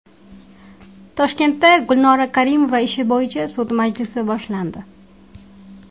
Toshkentda Gulnora Karimova ishi bo‘yicha sud majlisi boshlandi.